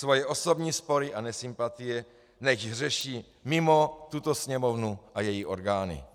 Svoje osobní spory a nesympatie nechť řeší mimo tuto Sněmovnu a její orgány."